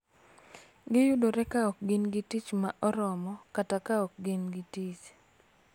Giyudore ka ok gin gi tich ma oromo kata ka ok gin gi tich.